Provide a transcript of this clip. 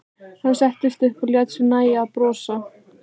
Hann settist upp og lét sér nægja að brosa.